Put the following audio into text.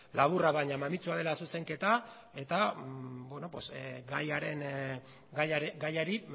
laburra baina mamitsua dela zuzenketa eta gaiari